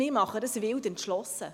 Wir tun dies wild entschlossen.